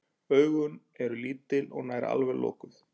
Augun eru lítil og nær alveg lokuð.